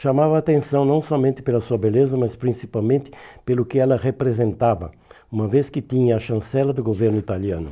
chamava atenção não somente pela sua beleza, mas principalmente pelo que ela representava, uma vez que tinha a chancela do governo italiano.